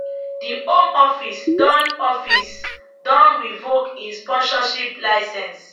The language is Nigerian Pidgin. di home office don office don revoke im sponsorship licence